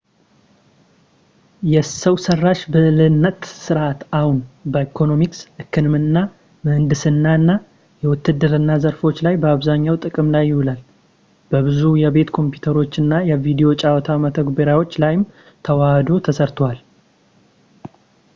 የሰው ሠራሽ ብልህነት ሥርዓት አሁን በኢኮኖሚክስ፣ ሕክምና ፣ ምህንድስና እና የውትድርና ዘርፎች ላይ በአብዛኛው ጥቅም ላይ ይውላል፤ በብዙ የቤት ኮምፒውተሮች እና የቪዲዮ ጨዋታ መተግበሪያዎች ላይም ተወህዶ ተሠርቷል